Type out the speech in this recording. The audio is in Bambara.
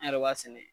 An yɛrɛ b'a sɛnɛ